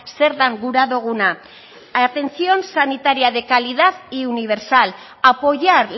zer den gura duguna atención sanitaria de calidad y universal apoyar